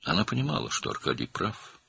O, Arkadinin haqlı olduğunu başa düşürdü.